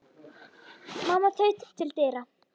Mamma þaut til dyra.